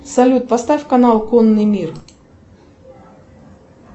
салют поставь канал конный мир